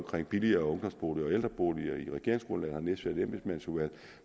billigere ungdomsboliger og ældreboliger i regeringsgrundlaget vi har nedsat et embedsmandsudvalg